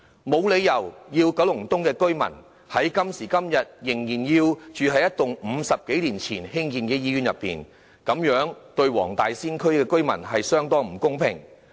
今時今日，九龍東的居民沒有理由仍要在一棟50多年前興建的醫院內求診和接受治療，這對黃大仙區的居民相當不公平。